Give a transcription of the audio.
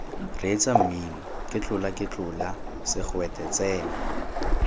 reetsa mmino ketlolaketlola segwete tsena